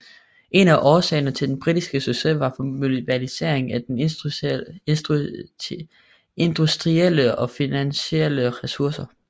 En af årsagerne til den britiske succes var mobiliseringen af industrielle og finansielle ressourcer